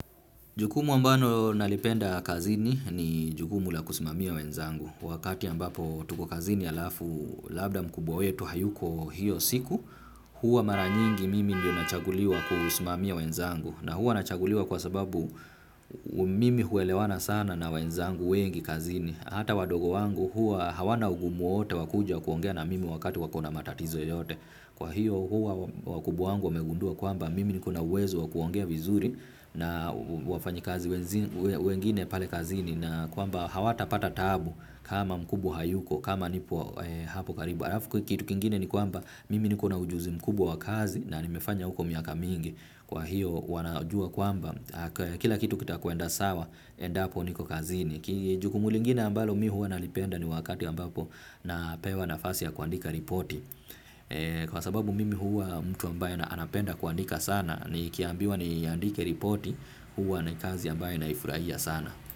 Jukumu ambalo nalipenda kazini ni jukumu la kusimamia wenzangu. Wakati ambapo tuko kazini halafu labda mkubwa wetu hayuko hiyo siku, huwa mara nyingi mimi ndio nachaguliwa kusimamia wenzangu. Na huwa nachaguliwa kwa sababu mimi huelewana sana na wenzangu wengi kazini. Hata wadogo wangu huwa hawana ugumu wowote wa kuja kuongea na mimi wakati wakona matatizo yoyote. Kwa hiyo huwa wakubwa wangu wamegundua kwamba mimi niko na uwezo wakuongea vizuri na wafanyikazi wenzi wengine pale kazini na kwamba hawatapata taabu kama mkubwa hayuko kama nipo hapo karibu halafu kitu kingine ni kwamba mimi nikona ujuzi mkubwa wa kazi na nimefanya huko miaka mingi kwa hiyo wanajua kwamba kila kitu kitakwenda sawa endapo niko kazini ki jukumu lingine ambalo mi huwa nalipenda ni wakati ambapo napewa nafasi ya kuandika ripoti. Kwa sababu mimi huwa mtu ambaye anapenda kuandika sana nikiambiwa niandike ripoti huwa ni kazi ambayo naifurahia sana.